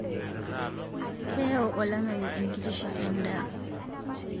Keyau olameyu enkitisho edaa